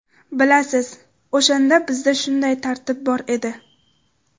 Bilasiz, o‘shanda bizda shunday tartib bor edi.